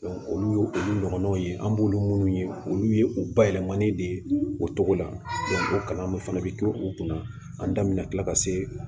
olu ye olu ɲɔgɔnnaw ye an b'olu munnu ye olu ye u bayɛlɛmani de ye o cogo la o kalanw fana bɛ kila u kunna an da min na kila ka se